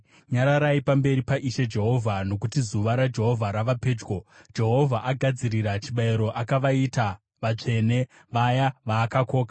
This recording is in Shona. Nyararai pamberi paIshe Jehovha, nokuti zuva raJehovha rava pedyo. Jehovha agadzirira chibayiro; akavaita vatsvene, vaya vaakakoka.